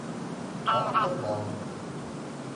автобан